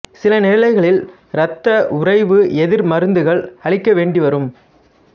சில நிலைகளில் இரத்த உறைவு எதிர் மருந்துகள் அளிக்க வேண்டி வரும்